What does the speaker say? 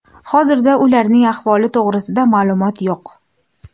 Hozirda ularning ahvoli to‘g‘risida ma’lumot yo‘q.